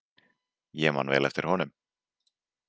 Ég man vel eftir honum.